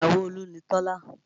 Ìyàwó Olú ni Tọ́lá